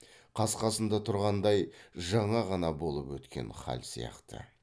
қақ қасында тұрғандай жаңа ғана болып өткен хал сияқты